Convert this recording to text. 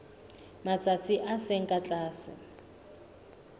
matsatsi a seng ka tlase